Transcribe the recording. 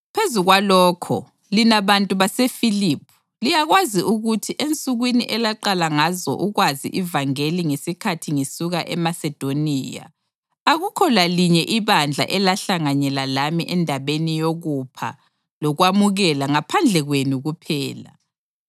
Phezu kwalokho, lina bantu baseFiliphi liyakwazi ukuthi ensukwini elaqala ngazo ukwazi ivangeli ngesikhathi ngisuka eMasedoniya, akukho lalinye ibandla elahlanganyela lami endabeni yokupha lokwamukela ngaphandle kwenu kuphela;